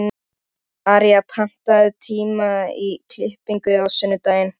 Heldurðu að hann vinni kúluna pabbi?